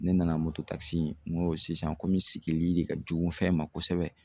Ne nana mototakisi in n ko sisan komi sigili de ka jugu fɛn ma kosɛbɛ